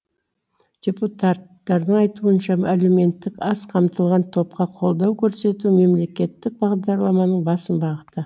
депутаттардың айтуынша әлеуметтік аз қамтылған топқа қолдау көрсету мемлекеттік бағдарламаның басым бағыты